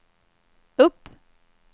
upp